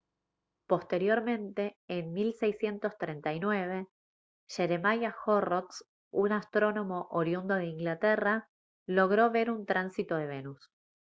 posteriormente en 1639 jeremiah horrocks un astrónomo oriundo de inglaterra logró ver un tránsito de venus